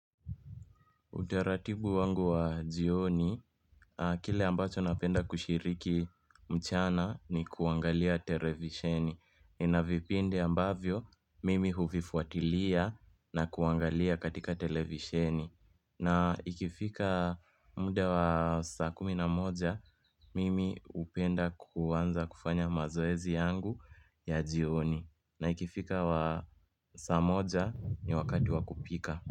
Utaratibu wangu wa jioni, kile ambacho napenda kushiriki mchana ni kuangalia televisheni. Inavipindi ambavyo, mimi huvifuatilia na kuangalia katika televisheni. Na ikifika muda wa saa kumi na moja, mimi hupenda kuanza kufanya mazoezi yangu ya jioni. Na ikifika wa saa moja ni wakati wa kupika.